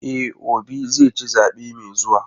E, Obi zai ci zaɓe mai zuwa.